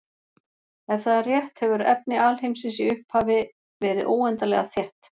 Ef það er rétt hefur efni alheimsins í upphafi verið óendanlega þétt.